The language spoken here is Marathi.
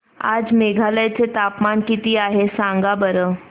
आज मेघालय चे तापमान किती आहे सांगा बरं